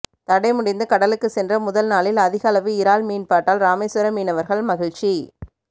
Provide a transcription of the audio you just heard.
தடை முடிந்து கடலுக்கு சென்ற முதல் நாளில் அதிகளவு இறால் மீன்பாட்டால் ராமேஸ்வரம் மீனவர்கள் மகிழ்ச்சி